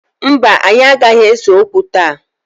Mba, anyị anaghị ese okwu taa